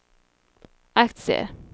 aktier